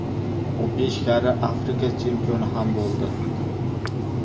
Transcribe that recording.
U besh karra Afrika chempioni ham bo‘ldi.